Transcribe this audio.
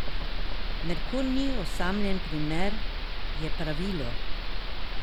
Merkur ni osamljen primer, je pravilo.